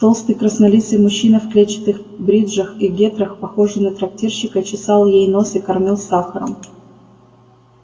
толстый краснолицый мужчина в клетчатых бриджах и гетрах похожий на трактирщика чесал ей нос и кормил сахаром